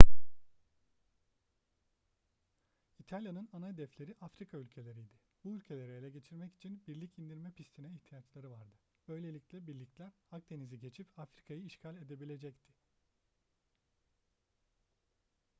i̇talya'nın ana hedefleri afrika ülkeleriydi. bu ülkeleri ele geçirmek için birlik indirme pistine ihtiyaçları vardı böylelikle birlikler akdeniz'i geçip afrika'yı işgal edebilecekti